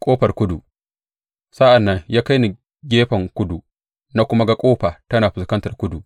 Ƙofar kudu Sa’an nan ya kai ni gefen kudu, na kuma ga ƙofa tana fuskantar kudu.